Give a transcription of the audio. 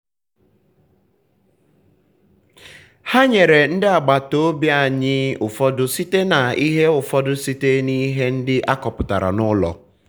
ha nyere ndị agbata obi anyị ụfọdụ site n'ihe ụfọdụ site n'ihe ndị akọpụtara n'ụlọ.